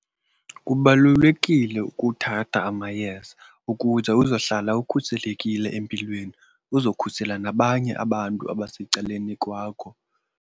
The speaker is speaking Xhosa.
Kubalulekile ukuthatha amayeza ukuze uzohlala ukhuselekile empilweni uzokhusela nabanye abantu abasecaleni kwakho.